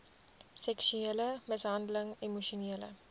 seksuele mishandeling emosionele